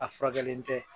A furakɛli tɛ